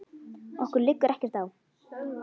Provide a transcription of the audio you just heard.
Okkur liggur ekkert á